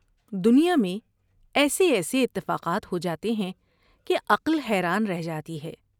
دنیا میں ایسے ایسے اتفاقات ہو جاتے ہیں کہ عقل حیران رہ جاتی ہے ۔